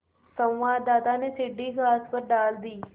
संवाददाता ने सीढ़ी घास पर डाल दी